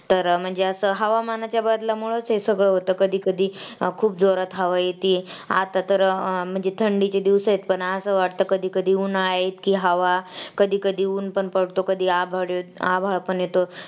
तर म्हणजे असं हवामानाच्या बदलामुळंच असं होतं कधी कधी अं खूप जोरात हवा येते आता तर अं म्हणजे थंडीचे दिवस आहेत पण असं वाटतं कधीकधी उन्हाळा इतकी हवा कधी कधी ऊन पण पडतं कधी हवा आभाळ पण येतो